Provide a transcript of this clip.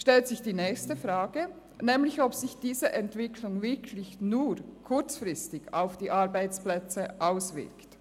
Es stellt sich die nächste Frage, nämlich ob sich diese Entwicklung wirklich nur kurzfristig auf die Arbeitsplätze auswirkt.